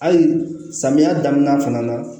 Hali samiya daminɛ fana na